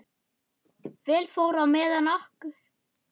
Vel fór á með okkur.